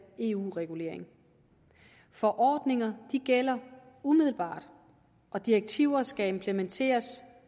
eu regulering forordninger gælder umiddelbart og direktiver skal implementeres